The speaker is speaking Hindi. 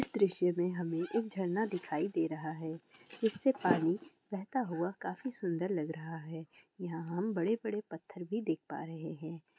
इस दृश्य में हमें एक झरना दिखाई दे रहा है। जिससे पानी बहता हुआ काफी सुन्दर लग रहा है। यहाँ हम बड़े बड़े पत्थर भी देख पा रहे है।